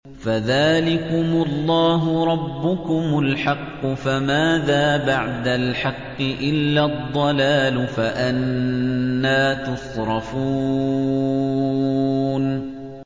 فَذَٰلِكُمُ اللَّهُ رَبُّكُمُ الْحَقُّ ۖ فَمَاذَا بَعْدَ الْحَقِّ إِلَّا الضَّلَالُ ۖ فَأَنَّىٰ تُصْرَفُونَ